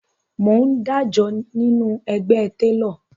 Mò ń dájọ nínú ẹgbẹ́ télọ̀